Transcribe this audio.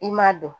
I ma don